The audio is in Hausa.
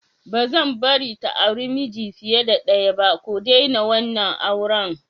Ba'zan bari ta auri miji fiye da ɗaya ba, ku daina wannan auren!!